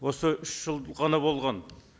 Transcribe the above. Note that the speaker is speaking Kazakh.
осы үш жыл ғана болған